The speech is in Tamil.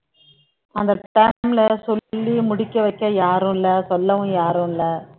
அந்த time ல சொல்லி முடிக்க வைக்க யாரும் இல்லை சொல்லவும் யாரும் இல்லை